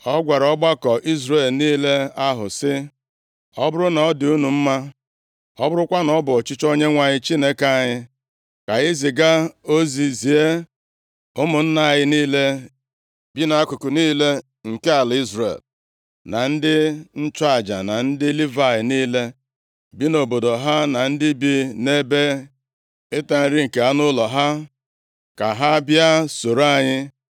Ọ gwara ọgbakọ Izrel niile ahụ sị, “Ọ bụrụ na ọ dị unu mma, ọ bụrụkwa na ọ bụ ọchịchọ Onyenwe anyị Chineke anyị, ka anyị ziga ozi zie ụmụnna anyị niile bi nʼakụkụ niile nke ala Izrel, na ndị nchụaja na ndị Livayị niile, bi nʼobodo ha na ndị bi nʼebe ịta nri nke anụ ụlọ ha, ka ha bịa, soro anyị.